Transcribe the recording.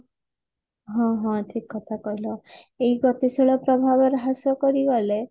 ହଁ ହଁ ଠିକ କଥା କହିଲ ଏହି ଗତିଶୀଳ ପ୍ରଭାବ ହ୍ରାସ କରିଗଲେ